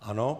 Ano.